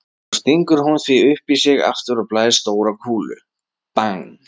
Svo stingur hún því upp í sig aftur og blæs stóra kúlu,- bang!